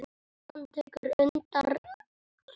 Hann tekur undir þetta.